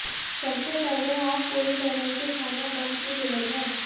सबसे पहले आप पूरी तरह से खाना बंद की जरूरत है